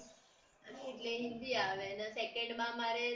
એટલે હિન્દી આવે ને second માં મારે સંસ્ક્રિત છે